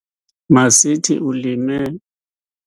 Masithi, ulime.